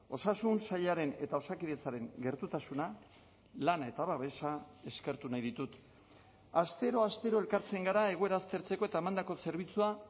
osasun sailaren eta osakidetzaren gertutasuna lana eta babesa eskertu nahi ditut astero astero elkartzen gara egoera aztertzeko eta emandako zerbitzua